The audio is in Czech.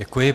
Děkuji.